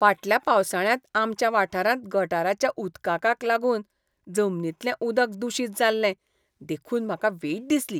फाटल्या पावसाळ्यांत आमच्या वाठारांत गटाराच्या उदकाकाक लागून जमनींतले उदक दूशीत जाल्लें देखून म्हाका वीट दिसली